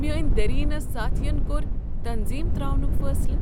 میٲنۍ دیرینہ ساتھین کوٚرتنظیم تراونک فیصلہ ۔